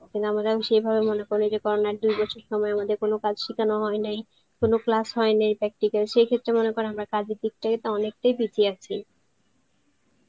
আমরা সেই ভাবে মনে করি যে corona র দুই বছর আমাদের কোনো কাজ সিখানে হয়েনি, কোনো class হয়ে নাই practical সেই ক্ষেত্রে মনে করো আমরা কাজের দিক থেকে অনেকটাই পিছিয়ে আছি